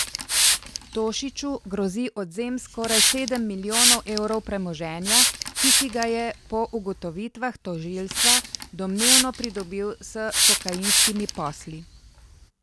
Tošiču grozi odvzem skoraj sedem milijonov evrov premoženja, ki si ga je po ugotovitvah tožilstva domnevno pridobil s kokainskimi posli.